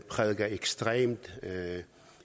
prædiker ekstremt